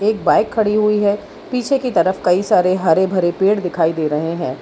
Bike खड़ी हुई है पीछे की तरफ कई सारे हरे भरे पेड़ दिखाई दे रहे है।